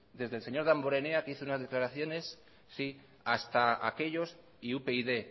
desde el señor damborenea que hizo unas declaraciones sí hasta aquellos y upyd